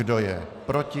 Kdo je proti?